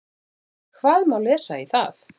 Hvað má lesa í það?